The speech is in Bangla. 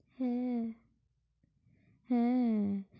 হ্যাঁ, হ্যাঁ,